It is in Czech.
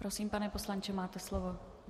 Prosím, pane poslanče, máte slovo.